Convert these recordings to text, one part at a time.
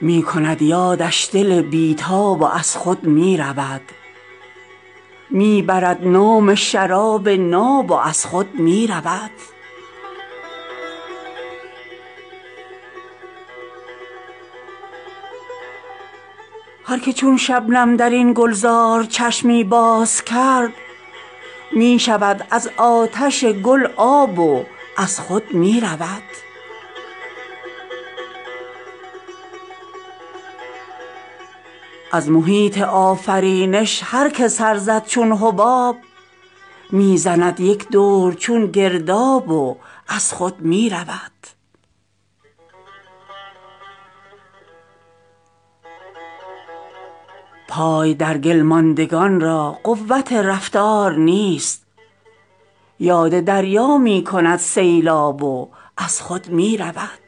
می کند یادش دل بیتاب و از خود می رود می برد نام شراب ناب و از خود می رود هر که چون شبنم درین گلزار چشمی باز کرد می شود از آتش گل آب و از خود می رود از محیط آفرینش هر که سر زد چون حباب می زند یک دور چون گرداب و از خود می رود پای در گل ماندگان را قوت رفتار نیست یاد دریا می کند سیلاب و از خود می رود شوخی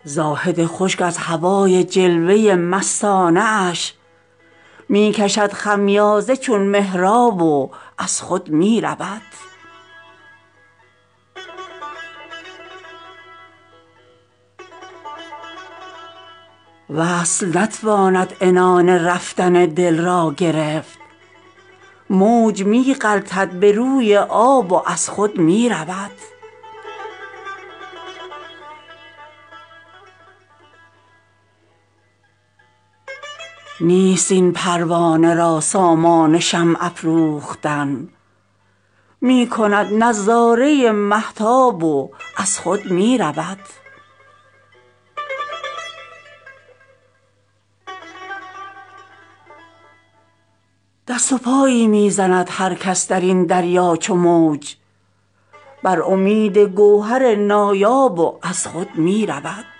میخانه مشرب نمی باشد مدام می زند جوشی شراب ناب و از خود می رود بیخودی می آورد با گلرخان همخانگی می نماید چشم او در خواب و از خود می رود هر که در گلزار بیدردانه خندد می زند غوطه در خون چون گل سیراب و از خود می رود زاهد خشک از هوای جلوه مستانه اش می کشد خمیازه چون محراب و از خود می رود وصل نتواند عنان رفتن دل را گرفت موج می غلطد به روی آب و از خود می رود نیست این پروانه را سامان شمع افروختن می کند نظاره مهتاب و از خود می رود گر فتد زاهد به فکر قامت او در نماز می گذارد پشت بر محراب و از خود می رود ماهیی کز ورطه قلاب یک ره جسته است می شمارد موج را قلاب و از خود می رود لوح خاک آیینه سیمابند روشن گوهران اضطرابی می کند سیماب و از خود می رود دست و پایی می زند هر کس درین دریا چو موج بر امید گوهر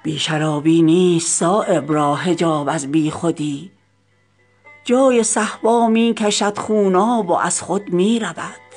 نایاب و از خود می رود هر که یابد لذت تنها روی و بیخودی همرهان را می کند در خواب و از خود می رود هر که آگاه است چون شبنم ز تعجیل بهار می دهد چشم از رخ گل آب و از خود می رود بی شرابی نیست صایب را حجاب از بیخودی جای صهبا می کشد خوناب و از خود می رود